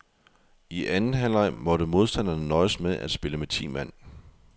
I anden halvleg måtte modstanderne nøjes med at spille med ti mand.